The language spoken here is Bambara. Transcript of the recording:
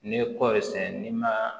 N'i ye kɔɔri sɛnɛ n'i ma